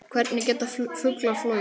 Hvernig geta fuglar flogið?